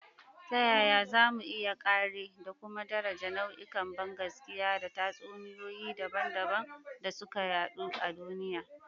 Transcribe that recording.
Ta yaya za mu iya kāre da kuma daraja nau'ikan bangaskiya da tatsuniyoyi dabam-dabam da suka yaɗu a duniya?